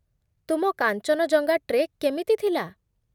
ତୁମ କାଞ୍ଚନଜଙ୍ଗା ଟ୍ରେକ୍ କେମିତି ଥିଲା?